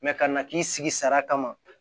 ka na k'i sigi sara kama